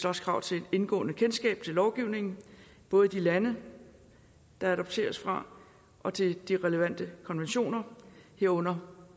også krav til et indgående kendskab til lovgivningen både i de lande der adopteres fra og til de relevante konventioner herunder